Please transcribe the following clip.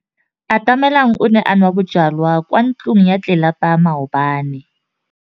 Atamelang o ne a nwa bojwala kwa ntlong ya tlelapa maobane.